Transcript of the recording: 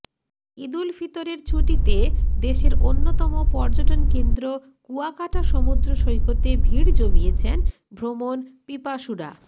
ঈদুল ফিতরের ছুটিতে দেশের অন্যতম পর্যটন কেন্দ্র কুয়াকাটা সমুদ্র সৈকতে ভিড় জমিয়েছেন ভ্রমণ পিপাসুরা